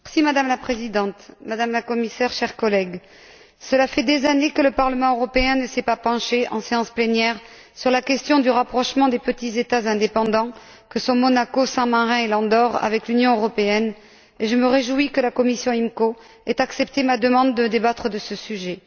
Madame la Présidente, Madame la Commissaire, chers collègues, cela fait des années que le Parlement européen ne s'est pas penché en séance plénière sur la question du rapprochement des petits États indépendants, que sont Monaco, Saint Marin et l'Andorre, avec l'Union européenne, et je me réjouis que la commission du marché intérieur et de la protection des consommateurs ait accepté ma demande de débattre de ce sujet.